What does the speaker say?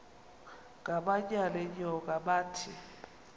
ngamanyal enyoka bathi